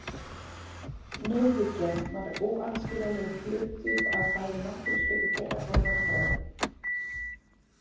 Nauðhyggjan var óaðskiljanlegur hluti af bæði náttúruspeki þeirra og rökfræði.